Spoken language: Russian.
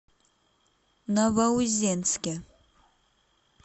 новоузенске